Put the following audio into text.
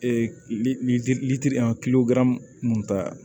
Ee lili mun ta